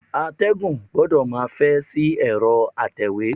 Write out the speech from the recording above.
Atẹ́gùn gbọdọ̀ máa fẹ́ sí ẹ̀rọ atẹ̀wé.